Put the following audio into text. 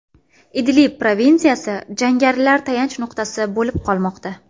Idlib provinsiyasi jangarilar tayanch nuqtasi bo‘lib qolmoqda.